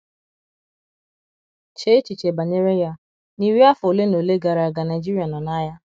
Chee echiche banyere ya, n’iri afọ ole na ole gara aga Naijiria nọ n’agha.